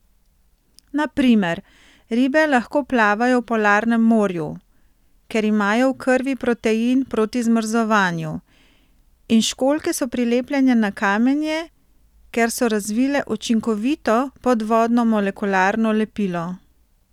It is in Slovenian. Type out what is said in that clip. Na primer, ribe lahko plavajo v polarnem morju, ker imajo v krvi protein proti zmrzovanju, in školjke so prilepljene na kamenje, ker so razvile učinkovito podvodno molekularno lepilo.